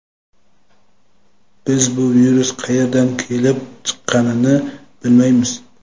Biz bu virus qayerdan kelib chiqqanini bilmaymiz.